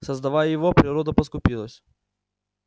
создавая его природа поскупилась